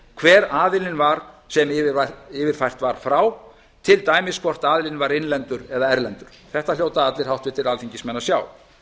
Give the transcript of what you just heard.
hver aðilinn var sem yfirfært var frá til dæmis hvort aðilinn var innlendur eða erlendur þetta hljóta allir alþingismenn að sjá